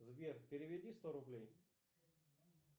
сбер переведи сто рублей